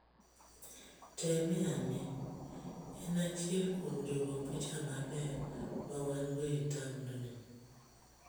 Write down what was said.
Temeane, en achiel kuom jagopicha maber ma wan-go e taondni.